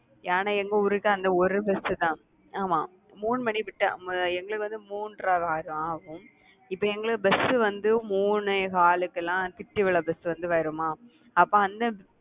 ஆனா எங்க ஊருக்கு அந்த ஒரு bus தான், ஆமா மூணு மணி விட்டா எங்களுக்கு வந்து மூன்றரை ஆயிடும் ஆகும். இப்ப எங்களுக்கு bus வந்து மூணே காலுக்கெல்லாம் திட்டுவிளை bus வந்து வருமா? அப்ப அந்த